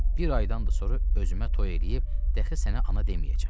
Bir aydan da sonra özümə toy eləyib dəxi sənə ana deməyəcəm.